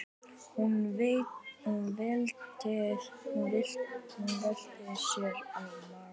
Hún velti sér á magann.